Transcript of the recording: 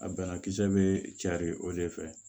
A banakisɛ bɛ cari o de fɛ